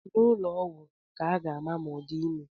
N'ụlọ ọgwụ ka a ga-ama ma ọ di ime